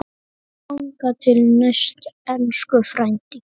Þangað til næst, elsku frændi.